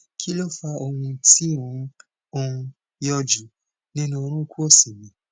kí ló fa ohùn tí ó ń ó ń yọjú nínú orunkun òsì mi